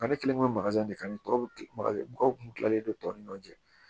Ne kelen do de kan ni tɔw bɛ ki mɔgɔw kun tilalen don tɔw ni ɲɔgɔn cɛ